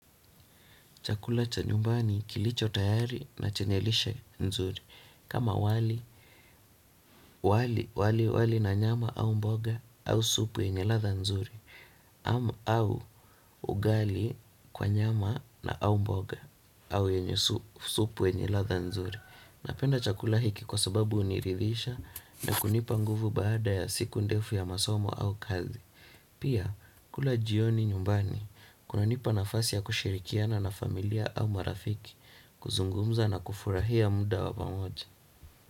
Chakula cha nyumbani kilicho tayari na chenye lishe nzuri kama wali na nyama au mboga au supu yenye ladha nzuri ama au ugali kwa nyama na au mboga au yenye supu yenye ladha nzuri. Napenda chakula hiki kwa sababu huniridhisha na kunipa nguvu baada ya siku ndefu ya masomo au kazi. Pia, kula jioni nyumbani, kunanipa nafasi ya kushirikiana na familia au marafiki, kuzungumza na kufurahia muda wa pamoja.